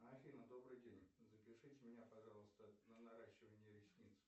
афина добрый день запишите меня пожалуйста на наращивание ресниц